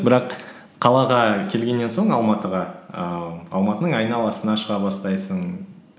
бірақ қалаға келгеннен соң алматыға ііі алматының айналасына шыға бастайсың